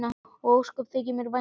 Og ósköp þykir mér vænt um hana.